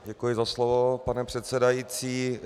Děkuji za slovo, pane předsedající.